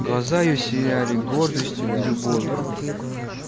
глаза её сияли гордостью и любовью